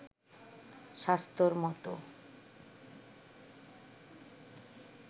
স্বাস্থ্যর মতো